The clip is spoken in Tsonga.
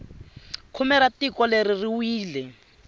khume ra tiko leri ri wile